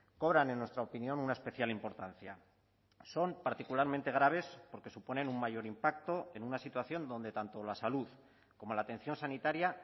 cobran en nuestra opinión una especial importancia son particularmente graves porque suponen un mayor impacto en una situación donde tanto la salud como la atención sanitaria